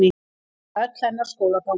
Það var öll hennar skólaganga.